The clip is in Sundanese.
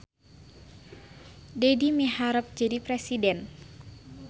Dedi miharep jadi presiden